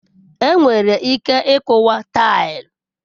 Enwere ike ịkuwa taịlị.